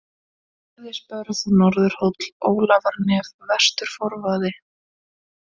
Gerðisbörð, Norðurhóll, Ólafarnef, Vestur-Forvaði